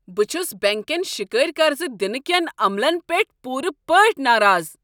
بہٕ چھس بینٛک کٮ۪ن شکٲرۍ قرض دنہٕ کٮ۪ن عملن پیٹھ پوٗرٕ پٲٹھۍ ناراض۔